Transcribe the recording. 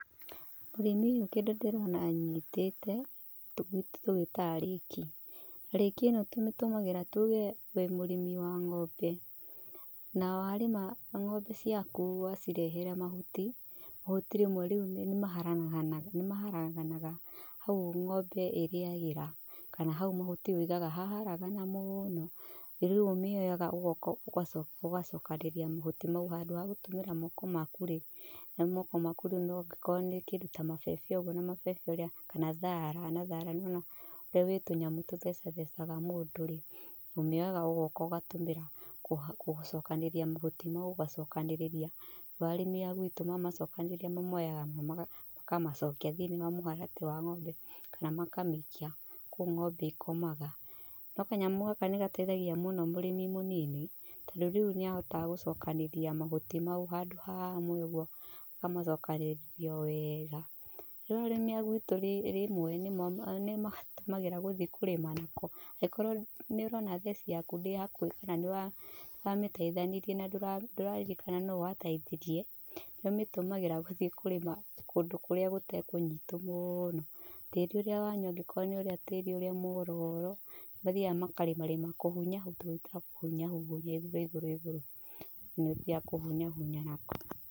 Mũrĩmi ũyũ kĩndũ ndĩrona anyitite gwitũ tũgĩtaga rĩki. Rĩki ĩno tũmĩtũmagĩra tuuge wĩ mũrĩmi wa ng’ombe, na warĩma ng’ombe ciaku wacirehera mahuti mahuti rĩmwe nĩ maharaganaga hau ng’ombe ĩrĩagĩra kana hau mahuti ũigaga haharagana mũno rĩu ũmĩoyaga ũgoka ũgacokanĩrĩria mahuti mau handũ ha gũtũmĩra moko maku rĩ, na moko rĩu nogikorwo kĩndũ ta mabebe ũguo kana thara rĩu ũrĩa wĩ tũnyamũ tũtheca thecaga mũndũ, ũmĩoyaga ũgoka ũgatũmĩra gũcokanĩrĩria mahuti mau ũgacokanĩrĩria, rĩu arĩmi a gwitũ mamacokanĩrĩa mamoyaga makamacokia thi-inĩ wa mũharatĩ kana makamĩikia kũu ng’ombe ikomaga. No kanyamũ gaka nĩgateithagia mũno mũrĩmi mũnini, tondũ rĩu nĩ ahotaga gũcokanĩrĩria mahuti mau handũ hamwe ũguo akamacokanĩrĩa wega. Rĩu arĩmi agwitũ rĩmwe nĩmatũmagĩra gũthiĩ kũrĩma nako angĩkorwo nĩũrona theci yaku ndĩrĩ hakuhĩ kana nĩwamĩteithanirie na ndũraririkana nũũ wateithirie nĩ ũmĩtũmagĩra gũthiĩ kũrĩma kũndũ kũrĩa gũtarĩ kũnyitu mũno, tĩri ũrĩa wanyu angĩkorwo nĩ ũrĩa tĩri ũrĩa muororo, nĩ mathiaga makarĩma rĩma kũhunya gwĩtagwo kũhunya, ũguo igũrũ igũrũ nĩ ũthiaga kũhunyahunya nako.